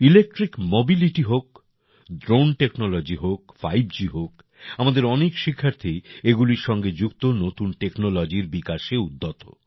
electric mobility হোক drone technology হোক 5G হোক আমাদের অনেক শিক্ষার্থী এগুলির সঙ্গে যুক্ত নতুন টেকনোলজির বিকাশে উদ্যত